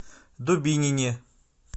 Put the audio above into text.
дубинине